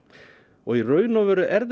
og í raun og veru er